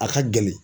A ka gɛlɛn